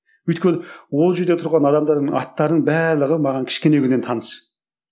өйткені ол жерде тұрған адамдардың аттарының барлығы маған кішкене күннен таныс